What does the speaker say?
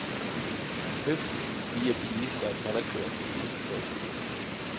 Høfligt viger bilister og knallertkørere til side for statsministeren.